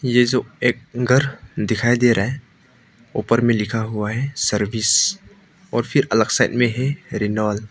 ये जो एक घर दिखाई दे रहा है ऊपर में लिखा हुआ है सर्विस और फिर अलग साइड में है रेनॉल्ट ।